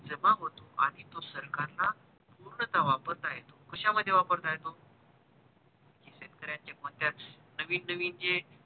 जमा होतो आणि तो सरकार ला पूर्णतः वापरता येतो कशामध्ये वापरता येतो शेतकऱ्याचे नवीन नवीन जे